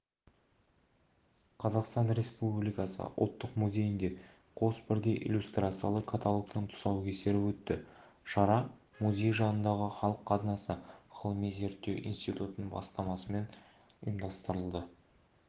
қазақстан республикасы ұлттық музейінде қос бірдей иллюстрациялы каталогтың тұсаукесері өтті шара музей жанындағы халық қазынасы ғылыми-зерттеу институтының бастамасымен ұйымдастырылды деп іабарлайды